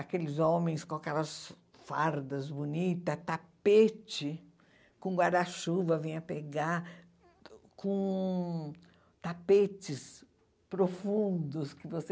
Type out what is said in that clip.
Aqueles homens com aquelas fardas bonitas, tapete com guarda-chuva, vinha pegar com tapetes profundos que você...